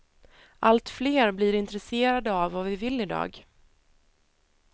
Allt fler blir intresserade av vad vi vill i dag.